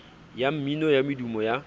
ya mmino ya medumo ya